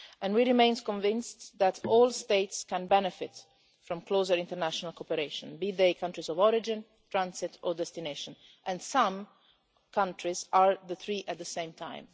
We remain convinced that all states can benefit from closer international cooperation, be they countries of origin, transit or destination and some countries are all three at the same time.